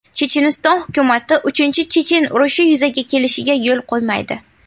Checheniston hukumati uchinchi chechen urushi yuzaga kelishiga yo‘l qo‘ymaydi.